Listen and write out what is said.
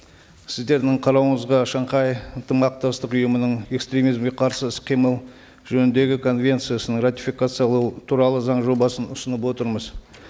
сіздердің қарауыңызға шанхай ынтымақтастық ұйымының экстремизмге қарсы іс қимыл жөніндегі конвенциясын ратификациялау туралы заң жобасын ұсынып отырмыз